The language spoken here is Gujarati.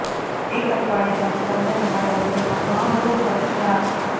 એક અઠવાડિયામાં જ તમને તમારા વજનમાં ઘણો બધો ફર્ક જણાશે